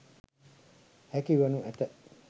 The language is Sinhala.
හැකි වනු ඇත.